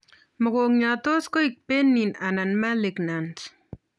Mogongiot tos koek benign anan malignant